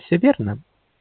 всё верно